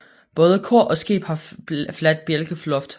Både kor og skib har fladt bjælkeloft